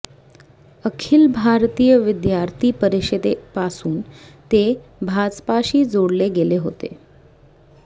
अखिल भारतीय विद्यार्थी परिषदेपासून ते भाजपाशी जोडले गेले होते